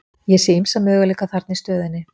Ég sé ýmsa möguleika þarna í stöðunni.